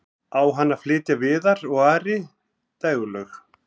á henni flytja viðar og ari dægurlög